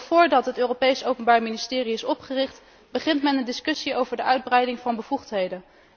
En nog voordat het Europees Openbaar Ministerie is opgericht, begint men een discussie over de uitbreiding van bevoegdheden.